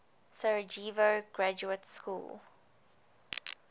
sarajevo graduate school